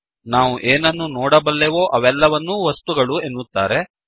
ನಾವು ಏನನ್ನು ನೋಡಬಲ್ಲೆವೋ ಅವೆಲ್ಲವನ್ನೂ ವಸ್ತುಗಳು ಎನ್ನುತ್ತಾರೆ